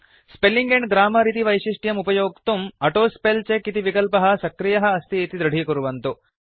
spelling and grammar इति वैशिष्ट्यम् उपयोक्तुं ऑटोस्पेलचेक इति विकल्पः सक्रियः अस्ति इति दृढीकुर्वन्तु